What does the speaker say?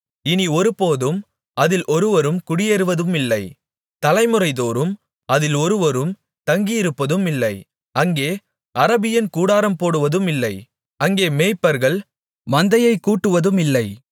இனி ஒருபோதும் அதில் ஒருவரும் குடியேறுவதுமில்லை தலைமுறைதோறும் அதில் ஒருவரும் தங்கியிருப்பதுமில்லை அங்கே அரபியன் கூடாரம் போடுவதுமில்லை அங்கே மேய்ப்பர்கள் மந்தையை கூட்டுவதுமில்லை